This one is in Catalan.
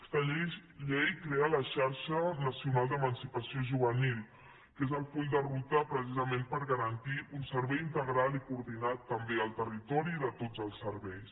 aquesta llei crea la xarxa nacional d’emancipació juvenil que és el full de ruta precisament per garantir un servei integral i coordinat també al territori de tots els serveis